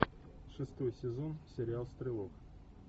шестой сезон сериал стрелок